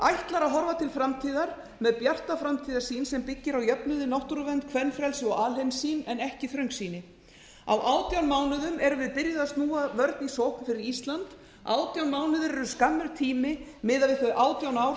ætlar að horfa til framtíðar með bjarta framtíðarsýn sem byggir á jöfnuði náttúruvernd kvenfrelsi og alheimssýn en ekki þröngsýni á átján mánuðum erum við byrjuð að snúa vörn í sókn fyrir ísland átján mánuðir eru skammur tími miðað við þau átján ár